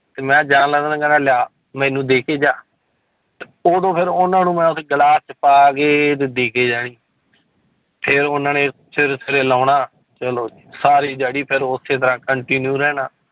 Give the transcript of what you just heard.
ਤੇ ਮੈਂ ਜਾਣ ਲਿਆ ਮੈਨੂੰ ਦੇ ਕੇ ਜਾ ਉਦੋਂ ਫਿਰ ਉਹਨਾਂ ਨੂੰ ਮੈਂ ਉੱਥੇ ਗਲਾਸ 'ਚ ਪਾ ਕੇ ਤੇ ਦੇ ਕੇ ਜਾਣੀ ਫਿਰ ਉਹਨਾਂ ਨੇ ਸਵੇਰੇ ਸਵੇਰੇ ਲਾਉਣਾ ਚਲੋ ਜੀ ਸਾਰੀ ਦਿਹਾੜੀ ਫਿਰ ਉਸੇ ਤਰ੍ਹਾਂ continue ਰਹਿਣਾ।